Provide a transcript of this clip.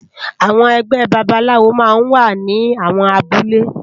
Awòn ègbè bàbálàwó má n wá ni áwòn àbúlé